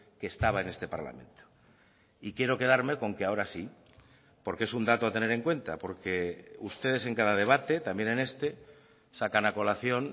que estaba en este parlamento y quiero quedarme con que ahora sí porque es un dato a tener en cuenta porque ustedes en cada debate también en este sacan a colación